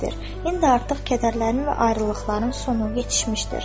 İndi artıq kədərlərin və ayrılıqların sonu yetişmişdir."